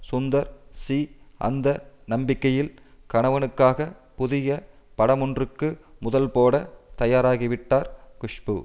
Sundar C அந்த நம்பிக்கையில் கணவனுக்காக புதிய படமொன்றுக்கு முதல்போட தயாராகிவிட்டார் குஷ்பு